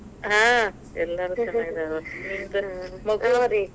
ಹಾ, ಎಲ್ಲಾರು .